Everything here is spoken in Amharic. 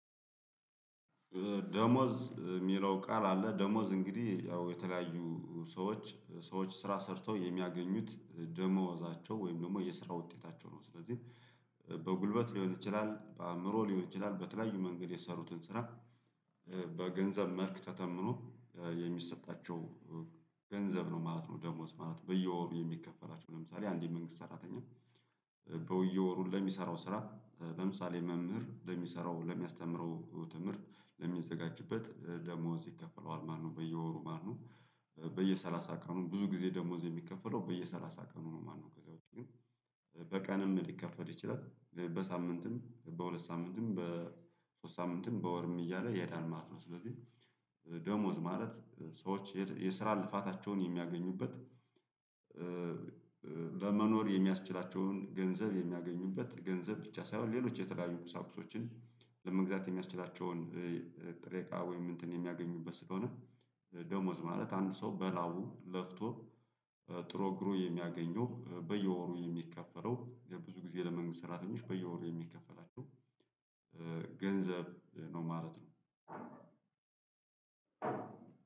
ደሞዝ ሚለው ቃል አለ። ደሞዝ እንግዲህ ያው የተለያዩ ሰዎች ሰዎች ስራ ሰርተው የሚያገኙት ደሞዛቸው ወይም ደግሞ የስራ ውጤታቸው ነው። ስለዚህ በጉልበት ሊሆን ይችላል፣ በአእምሮ ሊሆን ይችላል በተለያዩ መንገድ የሰሩትን ስራ በገንዘብ መልክ ተተምኖ የሚሰጣቸው ገንዘብ ነው ማለት ነው ደሞዝ ማለት። በየወሩ የሚከፈላቸው። ለምሳሌ አንድ የመንግስት ሰራተኛ በየወሩ ለሚሰራው ስራ ለምሳሌ መምህር ለሚሰራው ለሚያስተምረው ትምህርት ለሚዘጋጅበት ደሞዝ ይከፈለዋል ማነው። በየወሩ ማነው በየሰላሳ ቀኑን ብዙ ጊዜ ደሞዝ የሚከፈለው በየሰላሳ ቀኑ ነው ማነው። ከዛ ግን በቀንም ሊከፈት ይችላል። በሳምንትም፣ በሁለት ሳምንትም፣ በሶስት ሳምንትም፣ በወርም እያለ ይሄዳል ማለት ነው። ስለዚህ ደሞዝ ማለት ሰዎች የስራ ልፋታቸውን የሚያገኙበት እ ለመኖር የሚያስችላቸውን ገንዘብ የሚያገኙበት ገንዘብ ብቻ ሳይሆን ሌሎች የተለያዩ ቁሳቁሶችን ለመግዛት የሚያስችላቸውን ጥሬቃ ወይም እንትን የሚያገኙበት ስለሆነ ደሞዝ ማለት አንድ ሰው በላቡ ለፍቶ፣ ጥሮ፣ ግሮ የሚያገኘው በየወሩ የሚከፈለው ብዙ ጊዜ ለመንግስት ሰራተኞች በየወሩ የሚከፈላቸው ገንዘብ ነው ማለት ነው።